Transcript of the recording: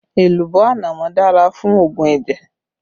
Èlùbọ́ ànámọ́ dára fún òògùn ẹ̀jẹ̀